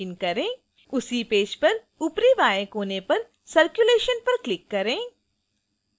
उसी पेज पर ऊपरी बाएँ कोने पर circulation पर click करें